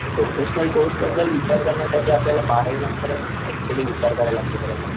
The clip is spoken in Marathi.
प्रोफेशनल कोर्स बद्दल विचार करण्यासाठी आपल्याला बारावी नंतरच अक्च्युली विचार करायला लागत त्याच्यासाठी.